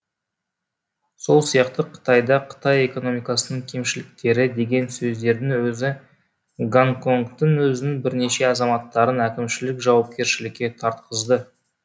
сол сияқты қытайда қытай экономикасының кемшіліктері деген сөздердің өзі гонконгтың өзінің бірнеше азаматтарын әкімшілік жауапкершілікке тартқызды